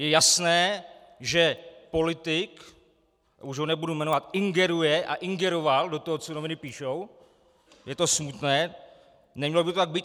Je jasné, že politik, už ho nebudu jmenovat, ingeruje a ingeroval do toho, co noviny píší, je to smutné, nemělo by to tak být.